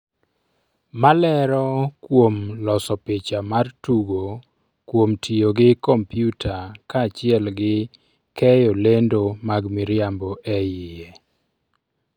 malero kuom loso picha mar tugo kuom tiyo gi komputa kaachiel gi keyo lendo mag miriambo e iye